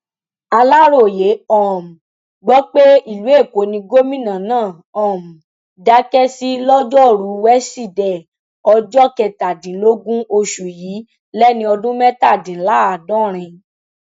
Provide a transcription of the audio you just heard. aláròye um gbọ pé ìlú èkó ni gómìnà náà um dákẹ sí lọjọrùú wẹsídẹẹ ọjọ kẹtàdínlógún oṣù yìí lẹni ọdún mẹtàdínláàádọrin